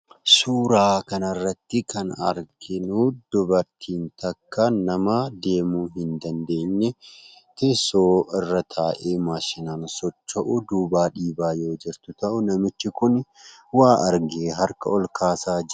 Suuraa kanarrattii kan arginuu dubartiin takka nama deemuu hin dandeenye teessoo irra taa'ee maashinaan socho'u duubaa dhiibaa yoo jirtu ta'u, namichi kun waa argee harka olkaasaa jira.